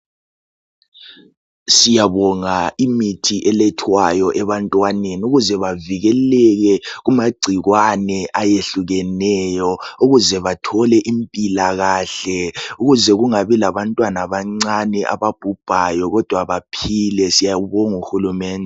Siyabonga imithi elethwayo ebantwaneni ukuze bevikeleke kumagcikwane ayehlukeneyo ukuze bethole impilakahle ukuze kungabi labantwana abancane ababhubhayo kodwa baphile siyambonga uhulumeni.